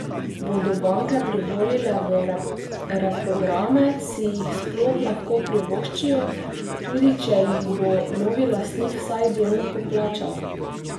Bodo banke privolile v reprograme, si jih sploh lahko privoščijo, tudi če jih bo novi lastnik vsaj delno poplačal?